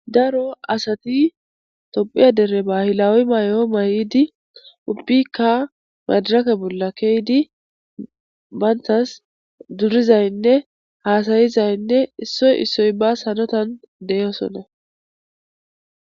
daro asati tophiya dere bahilawi may7o may7idi ubiyikka madarake bolla keydi bayntas durizaynne haasayizaynne issoy issoy bas hanotan deyosona